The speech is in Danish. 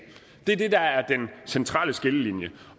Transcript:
det er det der er den centrale skillelinje